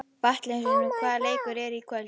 Valentínus, hvaða leikir eru í kvöld?